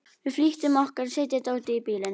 Við flýttum okkur að setja dótið í bílinn.